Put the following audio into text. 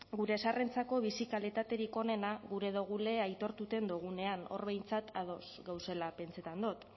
gure zaharrentzako bizi kalitaterik onena gure dugule aitortuten dugunean hor behintzat ados gagozela pentsetan dut